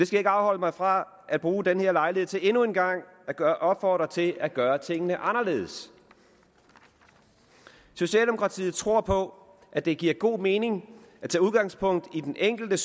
skal ikke afholde mig fra at bruge denne lejlighed til endnu en gang at opfordre til at gøre tingene anderledes socialdemokratiet tror på at det giver god mening at tage udgangspunkt i den enkelte